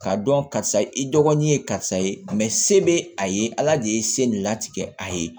K'a dɔn karisa i dɔgɔnin ye karisa ye se bɛ a ye ala de ye se nin latigɛ a ye